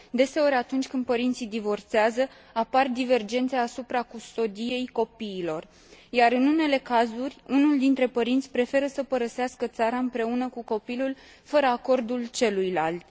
Deseori, atunci când părinții divorțează, apar divergențe asupra custodiei copiilor, iar, în unele cazuri, unul dintre părinți preferă să părăsească țara împreună cu copilul, fără acordul celuilalt.